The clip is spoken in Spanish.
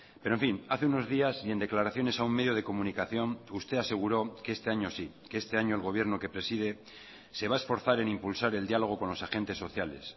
pero en fin hace unos días y en declaraciones a un medio de comunicación usted aseguró que este año sí que este año el gobierno que preside se va a esforzar en impulsar el diálogo con los agentes sociales